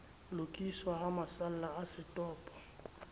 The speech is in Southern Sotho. lokiswa ha masalla a setopo